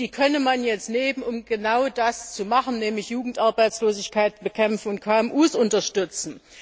die könne man jetzt nehmen, um genau das zu machen, nämlich Jugendarbeitslosigkeit bekämpfen und KMU unterstützen.